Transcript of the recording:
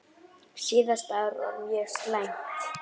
Síðasta ár var mjög slæmt.